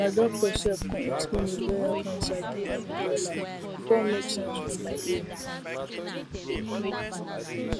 my doctor sef con explain ovarian cancer give me wella e con make sense for my ear